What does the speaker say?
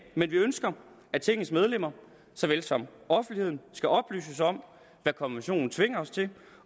men vi ønsker at tingets medlemmer så vel som offentligheden skal oplyses om hvad konventionen tvinger os til